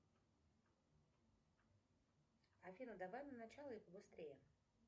афина давай на начало и побыстрее